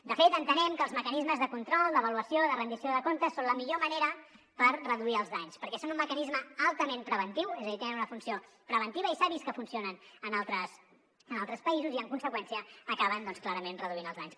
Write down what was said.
de fet entenem que els mecanismes de control d’avaluació i de rendició de comptes són la millor manera per reduir els danys perquè són un mecanisme altament preventiu és a dir tenen una funció preventiva i s’ha vist que funcionen en altres països i en conseqüència acaben clarament reduint els danys